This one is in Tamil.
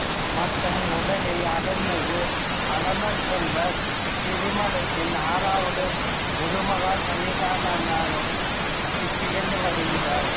மற்றும் உதகை அருள்மிகு ஆலமர்செல்வர் திருமடத்தின் ஆறாவது குருமகா சந்நிதானமாகவும் திகழ்ந்து வருகிறார்